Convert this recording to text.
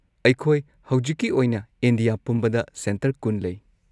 ꯑꯩꯈꯣꯏ ꯍꯧꯖꯤꯛꯀꯤ ꯑꯣꯏꯅ ꯏꯟꯗꯤꯌꯥ ꯄꯨꯝꯕꯗ ꯁꯦꯟꯇꯔ ꯲꯰ ꯂꯩ꯫